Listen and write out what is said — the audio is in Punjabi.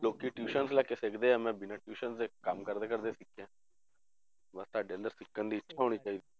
ਲੋਕੀ tuition ਲੈ ਕੇ ਸਿੱਖਦੇ ਆ ਮੈਂ ਬਿਨਾਂ tuition ਦੇ ਕੰਮ ਕਰਦੇ ਕਰਦੇ ਸਿੱਖਿਆ ਬਸ ਤੁਹਾਡੇ ਅੰਦਰ ਸਿੱਖਣ ਦੀ ਇੱਛਾ ਹੋਣੀ ਚਾਹੀਦੀ ਹੈ